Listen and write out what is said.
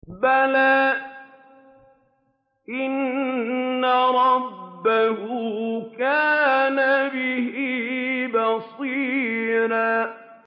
بَلَىٰ إِنَّ رَبَّهُ كَانَ بِهِ بَصِيرًا